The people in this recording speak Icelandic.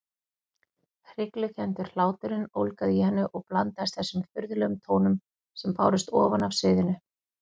Hryglukenndur hláturinn ólgaði í henni og blandaðist þessum furðulegum tónum sem bárust ofan af sviðinu.